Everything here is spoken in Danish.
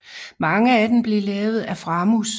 Mange af dem blev lavet af Framus